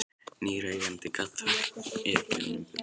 Nýr eigandi gat þá ekið honum burt.